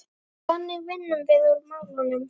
Þannig vinnum við úr málunum